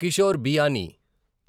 Kishore Biyani